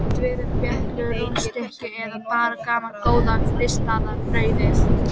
Geta verið beyglur, rúnnstykki eða bara gamla góða ristaða brauðið.